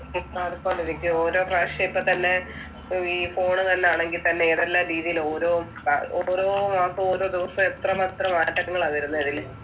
മാറിക്കൊണ്ടിരിക്കും. ഓരോപ്രാവിശ്യം ഇപ്പൊത്തന്നെ ഈ ഫോണുതന്നാണങ്കിൽത്തന്നെ ഏതെല്ലാം രീതിയിലാ ഓരോ ഓരോ മാസവും ഓരോ ദിവസവും എത്രമാത്രം മാറ്റങ്ങളാ വരുന്നെ.